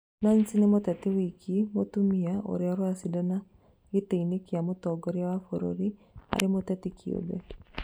Nancy nĩ mũteti woika mũtumia ũrĩa ũracindana gĩtĩ-inĩ kĩa mũtongoria wa bũrũri arĩ mũteti kĩũmbe